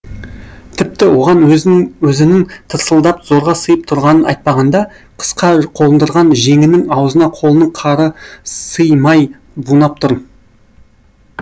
тіпті оған өзінін тырсылдап зорға сыйып тұрғанын айтпағанда қысқа қондырған жеңінің аузына қолының қары сый май бунап тұр